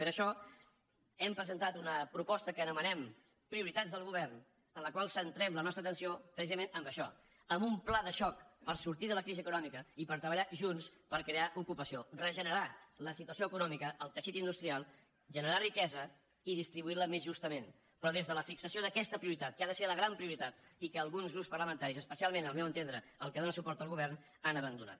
per això hem presentat una proposta que anomenem prioritats del govern en la qual centrem la nostra atenció precisament en això en un pla de xoc per sor·tir de la crisi econòmica i per treballar junts per crear ocupació regenerar la situació econòmica el teixit in·dustrial generar riquesa i distribuir·la més justament però des de la fixació d’aquesta prioritat que ha de ser la gran prioritat i que alguns grups parlamentaris es·pecialment al meu entendre el que dóna suport al go·vern han abandonat